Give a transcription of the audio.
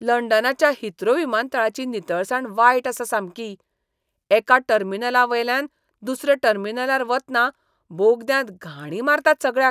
लंडनाच्या Heathrow विमानतळाची नितळसाण वायट आसा सामकी. एका टर्मिनलावेल्यान दुसऱ्या टर्मिनलार वतना बोगद्यांत घाणी मारतात सगळ्याक.